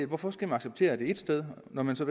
hvorfor skal man acceptere det ét sted når man så